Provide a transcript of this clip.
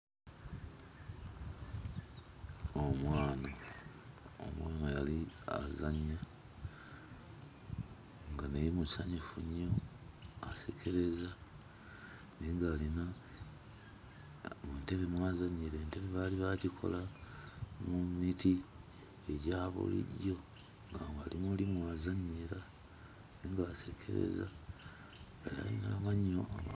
Omwana yali azannya nga naye musanyufu nnyo asekereza naye ng'alina entebe mw'azannyira. Entebe baali baagikola mu miti egya bulijjo ng'ali mu mw'azannyira naye ng'asekereza. Alina amannyo